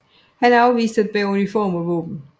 Han afviste at bære uniform og våben